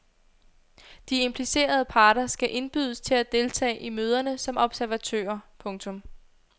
De implicerede parter skal indbydes til at deltage i møderne som observatører. punktum